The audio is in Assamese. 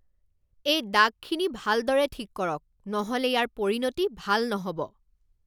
এই দাগখিনি ভালদৰে ঠিক কৰক, নহ'লে ইয়াৰ পৰিণতি ভাল নহ'ব!